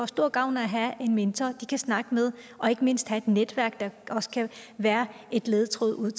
stor gavn af at have en mentor de kan snakke med og ikke mindst have et netværk der også kan være en ledetråd